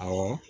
Awɔ